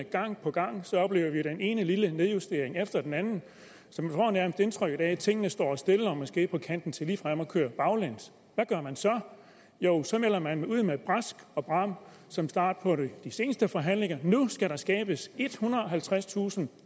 gang på gang den ene lille nedjustering efter den anden så man får nærmest indtryk af at tingene står stille eller måske er på kanten til ligefrem at køre baglæns hvad gør man så så melder man ud med brask og bram som start på de seneste forhandlinger at nu skal der skabes ethundrede og halvtredstusind